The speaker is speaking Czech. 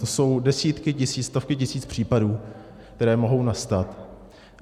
To jsou desítky tisíc, stovky tisíc případů, které mohou nastat.